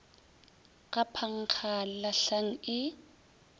ga phankga le lahlang e